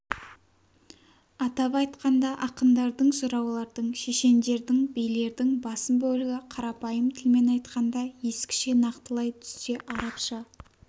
атап айтқанда ақындардың жыраулардың шешендердің билердің басым бөлігі қарапайым тілмен айтқанда ескіше нақтылай түссе арабша